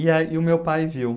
E aí, e o meu pai viu.